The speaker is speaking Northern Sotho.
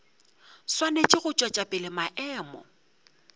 swanetše go tšwetša pele maemo